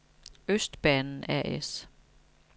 Østbanen A/S